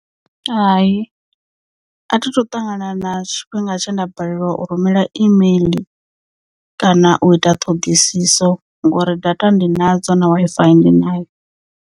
Hai a thi thu ṱangana na tshifhinga tshe nda balelwa u rumela email kana u ita ṱhoḓisiso ngori data ndi nadzo na Wi-Fi ndi nayo.